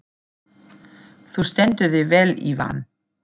Þú stendur þig vel, Ívan!